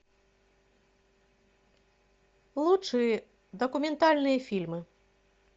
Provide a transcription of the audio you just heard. лучшие документальные фильмы